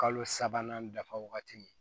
Kalo sabanan dafa wagati min